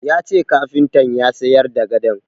Ya ce kafintan ya sayar da gadon.